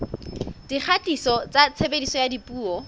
dikgatiso tsa tshebediso ya dipuo